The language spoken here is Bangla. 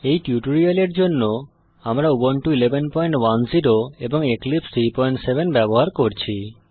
এই টিউটোরিয়ালের জন্য আমরা উবুন্টু 1110 এবং এক্লিপসে 37 ব্যবহার করছি